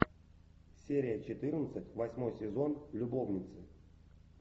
серия четырнадцать восьмой сезон любовницы